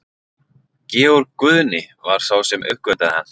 Georg Guðni var sá sem uppgötvaði hann.